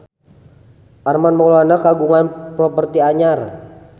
Armand Maulana kagungan properti anyar